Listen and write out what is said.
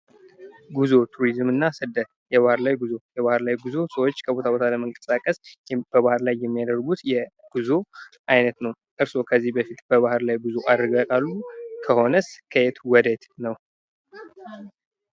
ጉዞ፣ ቱሪዝምና ስደት ፡-የባህር ላይ ጉዞ ሰዎች ከቦታ ቦታ ለመንቀሳቀስ በባህር ላይ የሚያደርጉት የጉዞ አይነት ነው ።እርስዎ ከዚህ በፊት በባህር ላይ ጉዞ አድርገው ያውቃሉ? ከሆነስ ከየት ወደ የት ነው?